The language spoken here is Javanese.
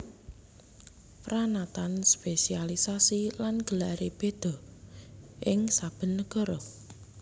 Pranatan spesialiasi lan gelaré béda béda ing saben nagara